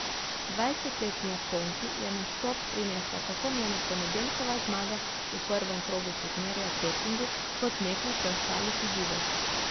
Dvajsetletni Japonki je nastop prinesla tako njena ponedeljkova zmaga v prvem krogu turnirja v Pekingu kot nekaj preostalih izidov.